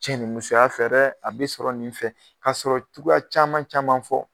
Cɛ ni musoya fɛ dɛ a be sɔrɔ nin fɛ k'a sɔrɔ cogoya caman caman fɔ